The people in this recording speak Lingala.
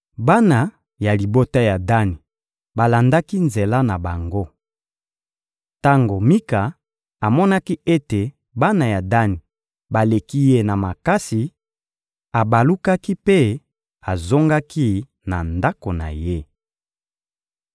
Bana ya libota ya Dani balandaki nzela na bango. Tango Mika amonaki ete bana ya Dani baleki ye na makasi, abalukaki mpe azongaki na ndako na ye.